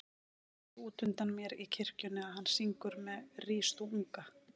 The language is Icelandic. Ég sé útundan mér í kirkjunni að hann syngur með Rís þú unga